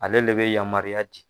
Ale de bɛ yamaruya ci.